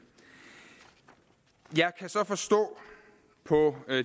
jeg kan så forstå på